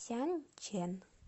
сянчэн